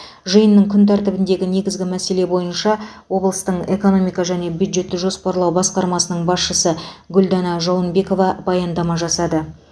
жиынның күн тәртібіндегі негізгі мәселе бойынша облыстың экономика және бюджетті жоспарлау басқармасының басшысы гүлдана жауынбекова баяндама жасады